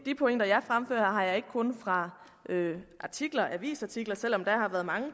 pointer jeg fremfører har jeg ikke kun fra avisartikler selv om der har været mange